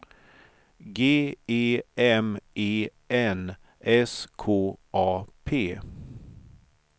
G E M E N S K A P